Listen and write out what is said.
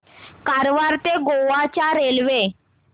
कारवार ते गोवा च्या रेल्वे